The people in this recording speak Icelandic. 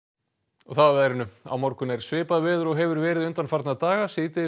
og þá að veðri á morgun er svipað veður og hefur verið undanfarna daga